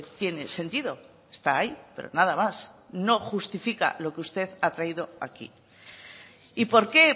tiene sentido está ahí pero nada más no justifica lo que usted ha traído aquí y por qué